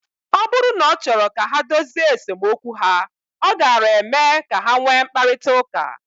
Ọ bụrụ na ọ chọrọ ka ha dozie esemokwu ha, ọ gaara eme ka ha nwee mkparịta ụka.